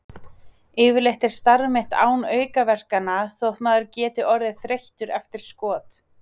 Yfirleitt er starf mitt án aukaverkana þótt maður geti orðið þreyttur eftir skot.